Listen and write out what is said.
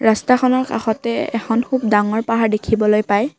ৰস্তাখনৰ কাষতে এখন খুব ডাঙৰ পাহাৰ দেখিবলৈ পায়।